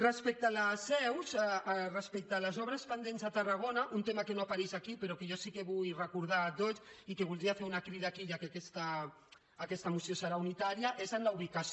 respecte a les obres pendents a tarragona un tema que no apareix aquí però jo sí que vull recordar a tots i que en voldria fer una crida aquí ja que aquesta moció serà unitària és el d’ubicació